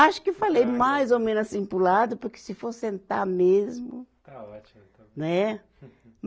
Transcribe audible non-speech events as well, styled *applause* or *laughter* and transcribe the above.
Acho que falei mais ou menos assim para o lado, porque se for sentar mesmo. Está ótimo. Né. *laughs*